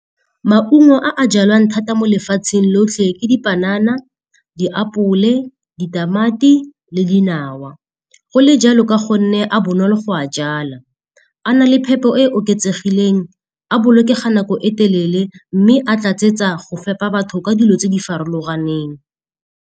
Maungo a jalwang thata mo lefatsheng lotlhe ke dipanana, diapole, ditamati le dinawa, go le jalo ka gonne a bonolo go a jala. A na le phepo e e oketsegileng, a bolokega nako e telele mme a tlatsetsa go fepa batho ka dilo tse di farologaneng.